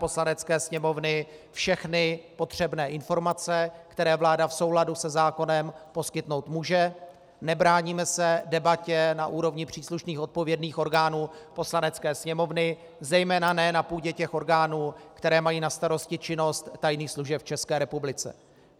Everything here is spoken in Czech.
Poslanecké sněmovny všechny potřebné informace, které vláda v souladu se zákonem poskytnout může, nebráníme se debatě na úrovni příslušných odpovědných orgánů Poslanecké sněmovny, zejména ne na půdě těch orgánů, které mají na starosti činnost tajných služeb v České republice.